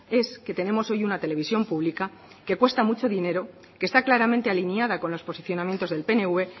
es que tenemos hoy una televisión pública que cuesta mucho dinero que está claramente alineada con los posicionamientos del pnv